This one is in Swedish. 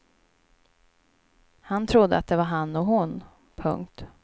Han trodde att det var han och hon. punkt